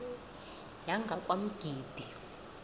yangakwamgidi